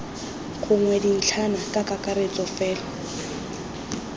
gongwe dintlhana ka kakaretso fela